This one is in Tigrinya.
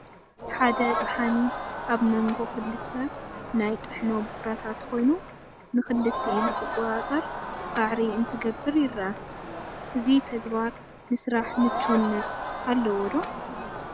ሓደ ጠሓኒ ኣብ መንጎ ክልተ ናይ ጥሕኖ ቡኽራታት ኮይኑ ንኽልቲአን ክቆፃፀር ፃዕሪ እንትገብር ይርአ፡፡ እዚ ተግባር ንስራሕ ምቹውነት ኣለዎ ዶ?